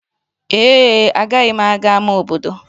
Ee e, agaghị m aga ámá obodo.